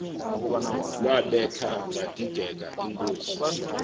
lwabetha vadideka inkosi